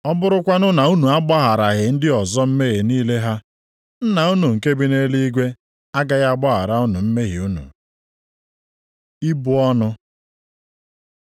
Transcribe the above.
Ọ bụrụkwanụ na unu agbagharaghị ndị ọzọ mmehie niile ha, Nna unu nke bi nʼeluigwe agaghị agbaghara unu mmehie unu. Ibu ọnụ